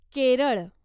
Kerala